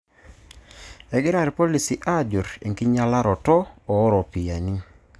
Egira irpolisi aajur enkinyialaroto ooropiyiani.